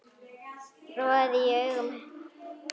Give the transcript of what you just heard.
roði í augum